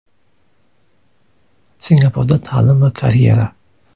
Singapurda ta’lim va karyera.